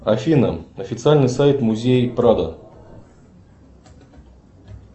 афина официальный сайт музея прадо